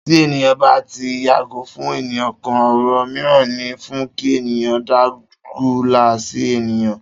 Tí ènìyàn bá tí ń yàgò fún ènìyàn kan, òrò míràn ní fún kí ènìyàn dágunlá sí ènìyàn